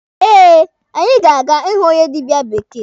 Eh, anyị ga-aga ịhụ onye dịbịa bekee.